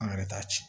An yɛrɛ t'a ci